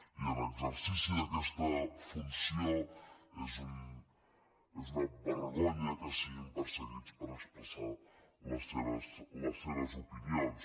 i en exercici d’aquesta funció és una vergonya que siguin perseguits per expressar les seves opinions